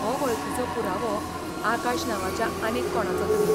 हो वळखीचो पुरावो आकाश नांवाच्या आनीक कोणाचोतरी.